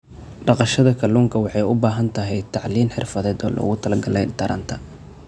Dhaqashada kalluunka waxay u baahan tahay tacliin xirfadeed oo loogu talagalay taranta.